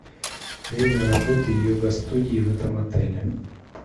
время работы йога студии в этом отеле